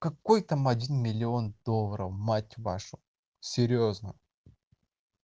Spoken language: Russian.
какой там один миллион долларов мать вашу серьёзно